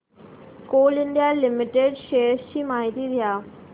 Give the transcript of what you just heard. Coal India Limited shares ची माहिती द्या